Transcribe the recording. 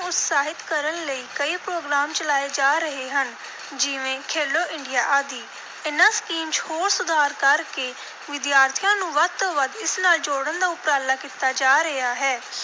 ਉਤਸ਼ਾਹਿਤ ਕਰਨ ਲਈ ਕਈ program ਚਲਾਏ ਜਾ ਰਹੇ ਹਨ, ਜਿਵੇਂ ਖੇਲੋ ਇੰਡੀਆ ਆਦਿ। ਇਨ੍ਹਾਂ ਸਕੀਮ ਚ ਹੋਰ ਸੁਧਾਰ ਕਰ ਕੇ ਵਿਦਿਆਰਥੀਆਂ ਨੂੰ ਵੱਧ ਤੋਂ ਵੱਧ ਇਸ ਨਾਲ ਜੋੜਨ ਦਾ ਉਪਰਾਲਾ ਕੀਤਾ ਜਾ ਰਿਹਾ ਹੈ,